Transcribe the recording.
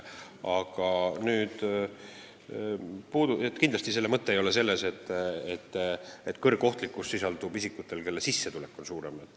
Aga kindlasti ei ole mõte selles, nagu kõrgohtlikud oleksid just nende isikute kuriteod, kelle sissetulek on suurem.